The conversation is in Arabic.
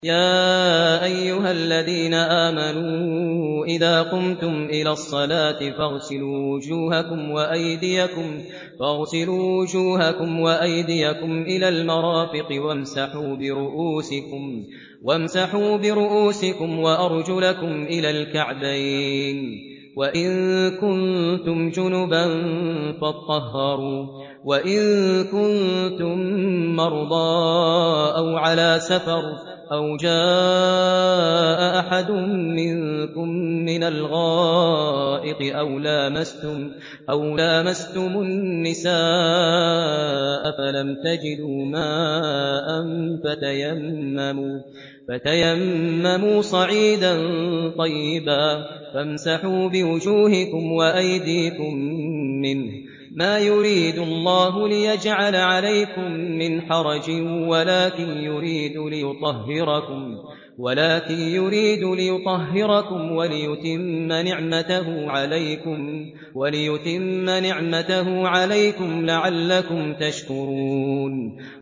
يَا أَيُّهَا الَّذِينَ آمَنُوا إِذَا قُمْتُمْ إِلَى الصَّلَاةِ فَاغْسِلُوا وُجُوهَكُمْ وَأَيْدِيَكُمْ إِلَى الْمَرَافِقِ وَامْسَحُوا بِرُءُوسِكُمْ وَأَرْجُلَكُمْ إِلَى الْكَعْبَيْنِ ۚ وَإِن كُنتُمْ جُنُبًا فَاطَّهَّرُوا ۚ وَإِن كُنتُم مَّرْضَىٰ أَوْ عَلَىٰ سَفَرٍ أَوْ جَاءَ أَحَدٌ مِّنكُم مِّنَ الْغَائِطِ أَوْ لَامَسْتُمُ النِّسَاءَ فَلَمْ تَجِدُوا مَاءً فَتَيَمَّمُوا صَعِيدًا طَيِّبًا فَامْسَحُوا بِوُجُوهِكُمْ وَأَيْدِيكُم مِّنْهُ ۚ مَا يُرِيدُ اللَّهُ لِيَجْعَلَ عَلَيْكُم مِّنْ حَرَجٍ وَلَٰكِن يُرِيدُ لِيُطَهِّرَكُمْ وَلِيُتِمَّ نِعْمَتَهُ عَلَيْكُمْ لَعَلَّكُمْ تَشْكُرُونَ